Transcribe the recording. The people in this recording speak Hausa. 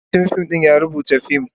marubucin fim ya rubuta fim,